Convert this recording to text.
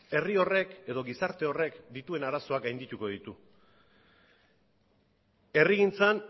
herri horrek edo gizarte horrek dituen arazoak gaindituko ditu herrigintzan